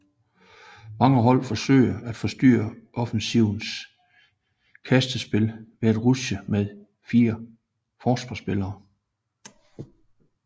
Mange hold forsøger at forstyrre offensivens kastespil ved at rushe med fire forsvarsspillere